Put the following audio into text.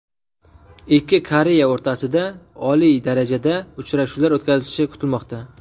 Ikki Koreya o‘rtasida oliy darajada uchrashuvlar o‘tkazilishi kutilmoqda.